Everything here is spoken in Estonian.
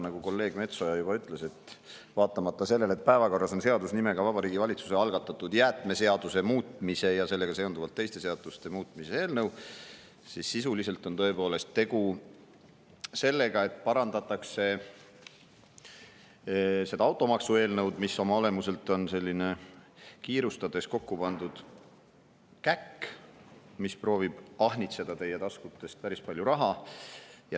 Nagu kolleeg Metsoja juba ütles, vaatamata sellele, et päevakorras on seadus nimega Vabariigi Valitsuse algatatud jäätmeseaduse muutmise ja sellega seonduvalt teiste seaduste muutmise eelnõu, on sisuliselt tõepoolest tegu sellega, et parandatakse automaksu, mis oma olemuselt on kiirustades kokku pandud käkk ja proovib ahnitseda teie taskutest päris palju raha.